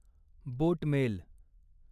बोट mail